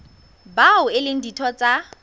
bao e leng ditho tsa